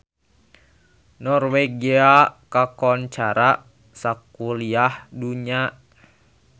Norwegia kakoncara sakuliah dunya